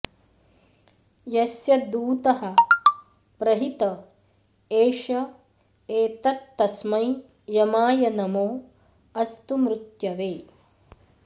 यस्य दूतः प्रहित एष एतत्तस्मै यमाय नमो अस्तु मृत्यवे